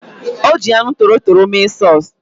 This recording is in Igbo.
Ọ ji anụ torotoro mee sọs